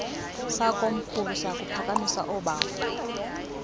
sakomkhulu siyakuphakamisa ubawo